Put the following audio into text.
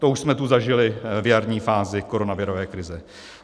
To už jsme tu zažili v jarní fázi koronavirové krize.